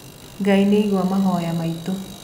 Ngai nĩaigua mahoya maitũ.